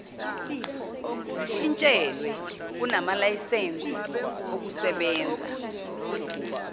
zishintshelwe kumalayisense okusebenza